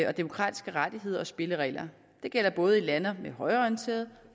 og demokratiske rettigheder og spilleregler det gælder både lande med højreorienterede